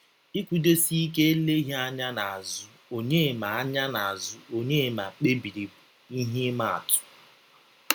Ikwụdọsike eleghi anya n'azu Ọnyema anya n'azu Ọnyema kpebiri bụ ihe ima atụ.